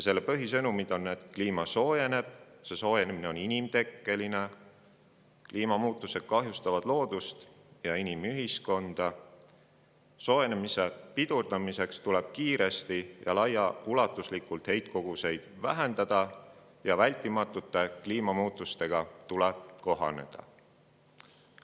Selle põhisõnumid on, et kliima soojeneb; kliima soojenemine on inimtekkeline; kliimamuutused kahjustavad loodust ja inimühiskonda; soojenemise pidurdamiseks tuleb kiiresti ja laiaulatuslikult heitkoguseid vähendada ning vältimatute kliimamuutustega tuleb kohaneda.